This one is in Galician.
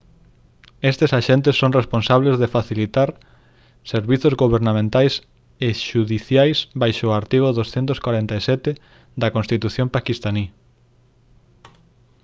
estes axentes son responsables de facilitar servizos gobernamentais e xudiciais baixo o artigo 247 da constitución paquistaní